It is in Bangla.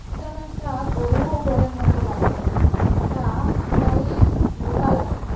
এখানো একটা গরুও ঘরের মতো লাগের এটা পুরাই ব্লু কালারের।